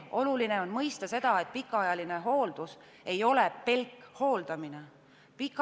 Oluline on mõista seda, et pikaajalise hoolduse puhul ei ole tähtis pelgalt hooldamine.